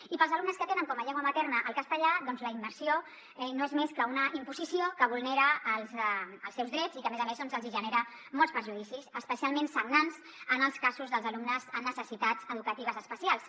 i per als alumnes que tenen com a llengua materna el castellà doncs la immersió no és més que una imposició que vulnera els seus drets i que a més a més els hi genera molts perjudicis especialment sagnants en els casos dels alumnes amb necessitats educatives especials